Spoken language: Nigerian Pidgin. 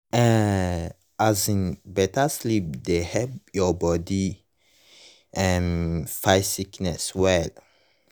eh um better sleep dey help your body um fight sickness well.